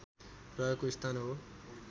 रहेको स्थान हो